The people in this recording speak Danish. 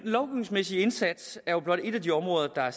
lovgivningsmæssige indsats er jo blot ét af de områder der er